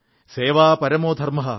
സേവാ പരമോധർമ്മഃ